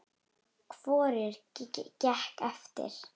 Hvorugt gekk eftir.